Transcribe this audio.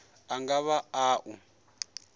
a nga vha a u